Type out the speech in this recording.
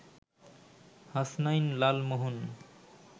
Hasnain Lalmohan